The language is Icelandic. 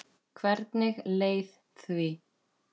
Hvernig leið því?